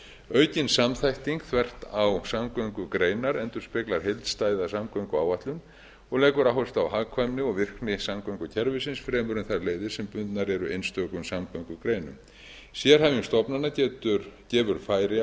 aukin samþætting þvert á samgöngugreinar endurspeglar heildstæða samgönguáætlun og leggur áherslu á hagkvæmni og virkni samgöngukerfisins fremur en þær leiðir sem bundnar eru einstökum samgöngugreinum sérhæfing stofnana gefur færi